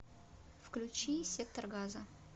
включи сектор газа